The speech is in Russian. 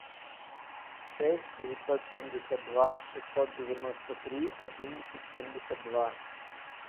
шесть девятьсот семьдесят два шестьсот девяносто три одиннадцать семьдесят два